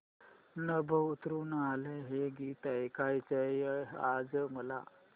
नभं उतरू आलं हे गीत ऐकायचंय आज मला